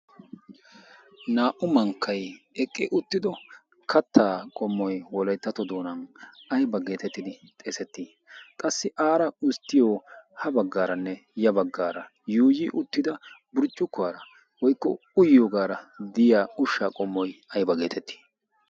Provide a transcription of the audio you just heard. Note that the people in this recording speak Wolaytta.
Naa''u mankkay eqqi uttido kaata qoomoy wolayttatto doona aybba getettidi xeeseti? qassi aaara usstiyoo ha baggaranne ya baggara yuuyyi burccukkuwara woykko uyyiyoogara diya uttida ushsha qommoy aybba getetti?